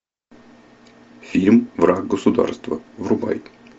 фильм враг государства врубай